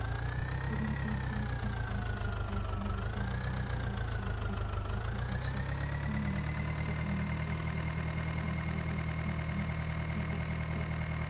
бүгінде интернетпен қамту жағдайы қанағаттанарлық жалпы республика бойынша мың мектеп немесе желіге қосылған алайда секундына мегабитті